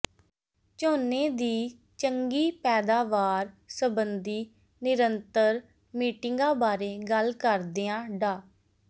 ਝੋਨੇ ਦੀ ਚੰਗੀ ਪੈਦਾਵਾਰ ਸੰਬੰਧੀ ਨਿਰੰਤਰ ਮੀਟਿੰਗਾਂ ਬਾਰੇ ਗੱਲ ਕਰਦਿਆਂ ਡਾ